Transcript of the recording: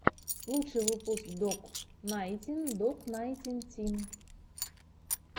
лучший выпуск док найнтин док найнтин ти